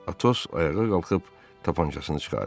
Atos ayağa qalxıb tapançasını çıxardı.